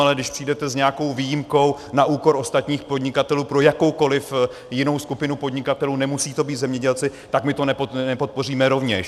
Ale když přijdete s nějakou výjimkou na úkor ostatních podnikatelů pro jakoukoli jinou skupinu podnikatelů, nemusí to být zemědělci, tak my to nepodpoříme rovněž.